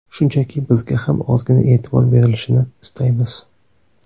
Shunchaki bizga ham ozgina e’tibor berilishini istaymiz.